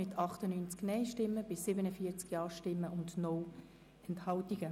Der Regierungsrat wird beauftragt, die bernische Grundbuchführung auf maximal 5 Standorte zu konzentrieren.